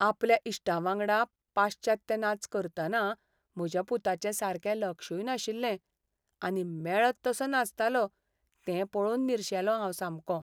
आपल्या इश्टांवांगडा पाश्चात्य नाच करतना म्हज्या पुताचें सारकें लक्षूय नाशिल्लें आनी मेळत तसो नाचतालो तें पळोवन निर्शेलों हांव सामकों.